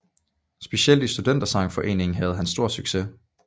Specielt i Studentersangforeningen havde han stor succes